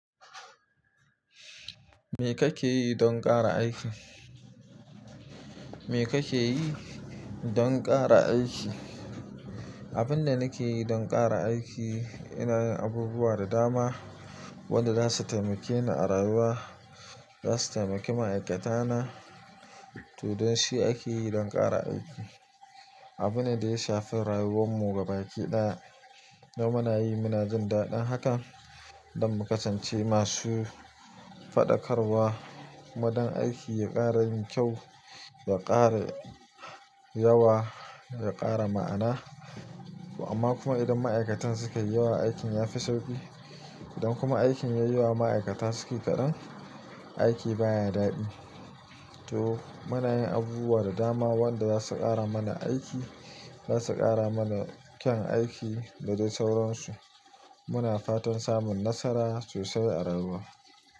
Me kake yi don ƙara aiki? Me kake yi don ƙara aiki? Abin da nake yi don ƙara aiki ina yin abubuwa da dama wanda zasu taimake ni a rayuwa, zasu taimaki ma'aikata na. To, don shi ake yi don ƙara aiki. Abune da ya shafi rayuwar mu gabaki ɗaya. To muna yi munajin daɗin haka don mu kasance masu faɗakarwa kuma don aiki ya ƙara yin kyau, ya ƙara yawa, ya ƙara ma'ana. Amma kuma idan ma'aikatan suka yi yawa aikin ya fi sauƙi. Idan kuma aikin ya yi yawa ma'aikata sukai kaɗan, aiki baya daɗi. To muna yin abubuwa da dama wanda zasu ƙara mana aiki, zasu ƙara mana kyan aiki da dai sauransu. Muna fatan samun nasara sosai a rayuwa.